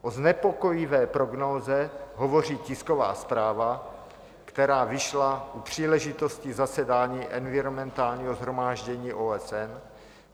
O znepokojivé prognóze hovoří tisková zpráva, která vyšla u příležitosti zasedání environmentálního shromáždění OSN.